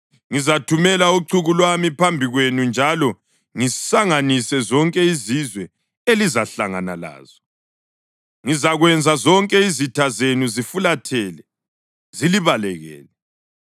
Ngizathumela uchuku lwami phambi kwenu njalo ngisanganise zonke izizwe elizahlangana lazo. Ngizakwenza zonke izitha zenu zifulathele zilibalekele.